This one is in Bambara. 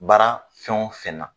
Baara fɛn o fɛn na.